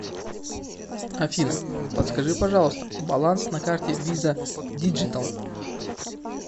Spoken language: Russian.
афина подскажи пожалуйста баланс на карте виза диджитал